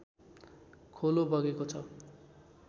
खोलो बगेको छ